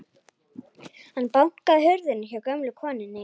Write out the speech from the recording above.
Hann bankaði á hurðina hjá gömlu konunni.